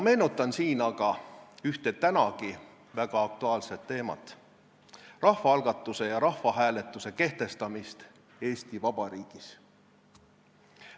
Meenutan aga siinkohal ühte nüüdki väga aktuaalset teemat, rahvaalgatuse ja rahvahääletuse kehtestamist Eesti Vabariigis.